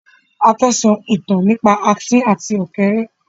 A fẹ́ sọ ìtàn nípa Asín àti ọ̀kẹ́rẹ́